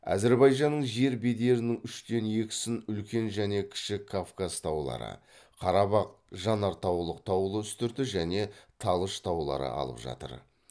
әзірбайжанның жер бедерінің үштен екісін үлкен және кіші кавказ таулары қарабақ жанартаулық таулы үстірті және талыш таулары алып жатыр